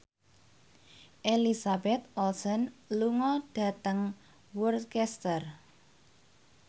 Elizabeth Olsen lunga dhateng Worcester